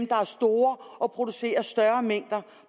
der er store og producerer større mængder